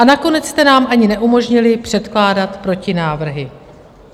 A nakonec jste nám ani neumožnili předkládat protinávrhy.